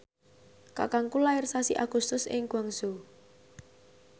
kakangku lair sasi Agustus ing Guangzhou